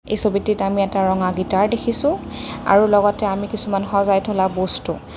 এই ছবিটিত আমি এটা ৰঙা গীটাৰ দেখিছোঁ আৰু লগতে আমি কিছুমান সজাই থলা বস্ত।